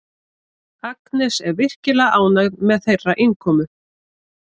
Agnes er virkilega ánægð með þeirra innkomu.